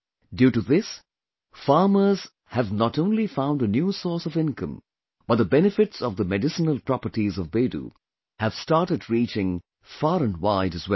Due to this, farmers have not only found a new source of income, but the benefits of the medicinal properties of Bedu have started reaching far and wide as well